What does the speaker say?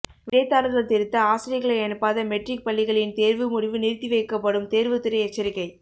விடைத்தாள்கள் திருத்த ஆசிரியர்களை அனுப்பாத மெட்ரிக் பள்ளிகளின் தேர்வு முடிவு நிறுத்தி வைக்கப்படும் தேர்வுத்துறை எச்சரிக்கை